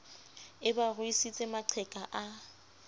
e ba ruisitse maqheka a